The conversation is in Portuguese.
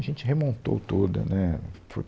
A gente remontou toda, né, foi